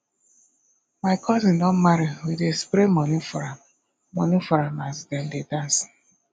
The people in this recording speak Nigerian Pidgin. my cousin don marry we dey spray money for am money for am as dem dey dance